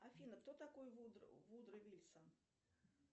афина кто такой вудро вильсон